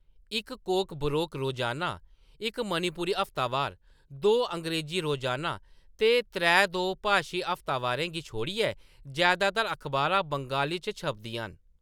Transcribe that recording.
इक कोकबोरोक रोजाना, इक मणिपुरी हफ्तावार, दो अंग्रेज़ी रोजाना ते त्रै दो-भाशी हफ्तावारें गी छोड़ियै जैदातर अखबारां बंगाली च छपदियां न।